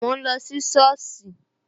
Mo ń lọ sí soosi